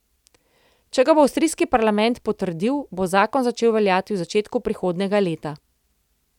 Če ga bo avstrijski parlament potrdil, bo zakon začel veljati v začetku prihodnjega leta.